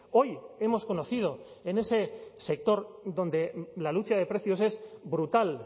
hoy hemos conocido en ese sector donde la lucha de precios es brutal